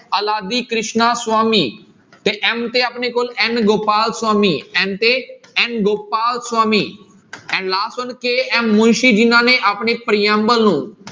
ਅਲਾਦੀ ਕ੍ਰਿਸ਼ਨਾ ਸੁਆਮੀ ਤੇ n ਤੇ ਆਪਣੇ ਕੋਲ n ਗੋਪਾਲ ਸੁਆਮੀ n ਤੇ n ਗੋਪਾਲ ਸੁਆਮੀ ਇਹ last ਹੁਣ KM ਮੁਨਸੀ ਜਿਹਨਾਂ ਨੇ ਆਪਣੀ ਪ੍ਰਿਅੰਬਲ ਨੂੰ